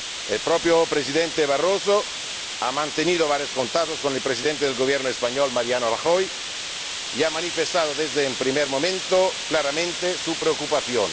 El propio Presidente Barroso ha mantenido varios contactos con el Presidente del Gobierno español, Mariano Rajoy, y ha manifestado desde el primer momento claramente su preocupación.